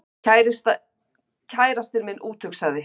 Kærastinn minn úthugsaði